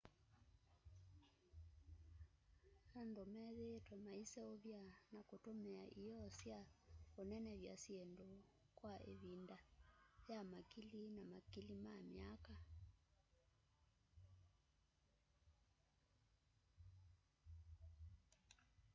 andu methiitwe maiseuvya na kutumia ioo sya unenevya syindu kwa ivinda ya makili na makili ma myaka